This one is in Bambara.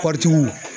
Kɔɔritigiw